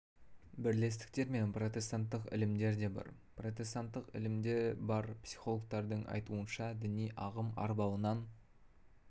бірлестіктер мен протестанттық ілімдер де бар протестанттық ілімдер де бар психологтардың айтуынша діни ағым арбауынан